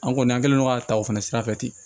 An kɔni an kɛlen don ka ta o fana sira fɛ ten